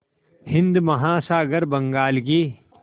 हिंद महासागर बंगाल की